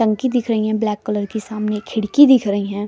टंकी दिख रही है ब्लैक कलर की सामने खिड़की दिख रही है।